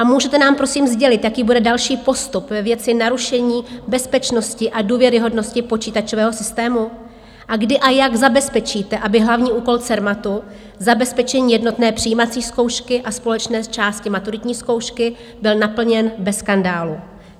A můžete nám, prosím, sdělit, jaký bude další postup ve věci narušení bezpečnosti a důvěryhodnosti počítačového systému a kdy a jak zabezpečíte, aby hlavní úkol Cermatu, zabezpečení jednotné přijímací zkoušky a společné části maturitní zkoušky, byl naplněn bez skandálu?